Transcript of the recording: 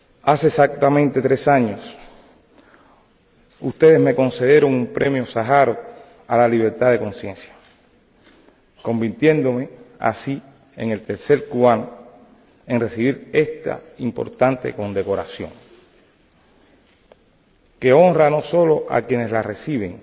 Hace exactamente tres años ustedes me concedieron un Premio Sájarov a la Libertad de Conciencia, convirtiéndome así en el tercer cubano en recibir esta importante condecoración, que honra no solo a quienes la reciben,